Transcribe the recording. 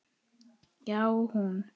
Já, hún!